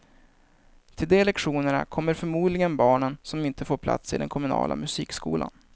Till de lektionerna kommer förmodligen barnen som inte får plats i den kommunala musikskolan.